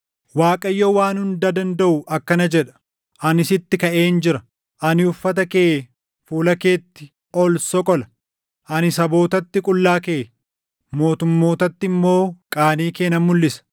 Waaqayyo Waan Hunda Dandaʼu akkana jedha: “Ani sitti kaʼeen jira. Ani uffata kee fuula keetti ol soqola. Ani sabootatti qullaa kee, mootummootatti immoo qaanii kee nan mulʼisa.